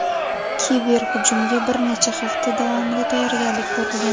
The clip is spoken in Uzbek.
Kiberhujumga bir necha hafta davomida tayyorgarlik ko‘rilgan.